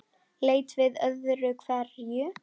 Leit við öðru hverju.